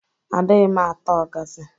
Adịghị m ata ọgazị.